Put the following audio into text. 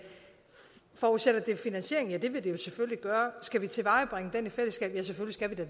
forudsætter det finansiering ja det vil det jo selvfølgelig gøre skal vi tilvejebringe den i fællesskab ja selvfølgelig